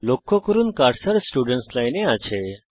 লক্ষ্য করুন যে কার্সার স্টুডেন্টস লাইন এ আছে